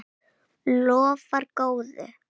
Lofar góðu!